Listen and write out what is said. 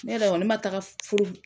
Ne yɛrɛ kɔni ne ma taga furu